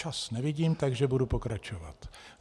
Čas nevidím, takže budu pokračovat.